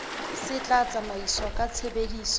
se tla tsamaiswa ka tshebediso